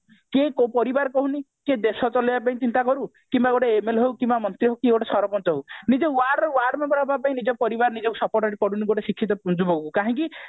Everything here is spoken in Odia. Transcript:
କିଏ ପରିବାର କହୁନି ଯେ ଦେଶ ଚଲେଇବା ପାଇଁ ଚିନ୍ତା କରୁ କିମ୍ବା ଗୋଟେ MLA ହଉ କିମ୍ବା ମନ୍ତ୍ରୀ ହଉ କି ଗୋଟେ ସରପଞ୍ଚ ହଉ ନିଜ word ରେ ward member ହବା ପାଇଁ ନିଜ ପରିବାର ନିଜକୁ support କରୁନି ଗୋଟେ ଶିକ୍ଷିତ ଯୁବକକୁ କାହିଁକି